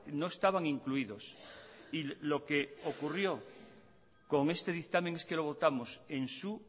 no estaban incluidos y lo que ocurrió con este dictamen es que lo votamos en su